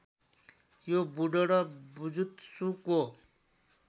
यो बुडो र बुजुत्सुको